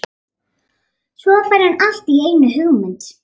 Svo fær hann allt í einu hugmynd.